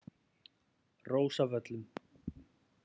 Rósavöllum